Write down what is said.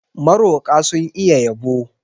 Maroƙa sun iya yabo.